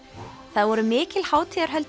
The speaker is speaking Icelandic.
það voru mikil hátíðarhöld